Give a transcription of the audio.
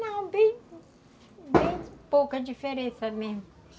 Não, bem pouca diferença mesmo.